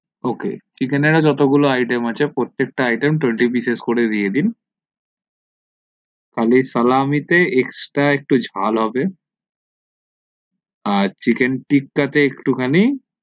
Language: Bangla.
ok chicken এর যতগুলো iteam আছে প্রত্যেকটা iteam twenty pice করে দিয়ে দিন খালি salami তে extra একটু ঝাল হবে আর chicken tikka একটু খানি